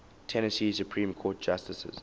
tennessee supreme court justices